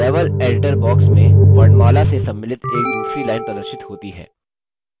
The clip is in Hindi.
level editor box में वर्णमाला से सम्मिलित एक दूसरी line प्रदर्शित होती है